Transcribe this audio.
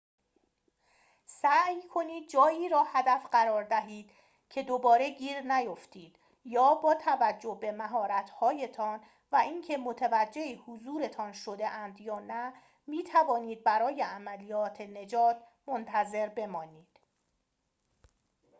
سعی کنید جایی را هدف قرار دهید که دوباره گیر نیفتید یا با توجه به مهارت‌هایتان و اینکه متوجه حضورتان شده‌اند یا نه می‌توانید برای عملیات نجات منتظر بمانید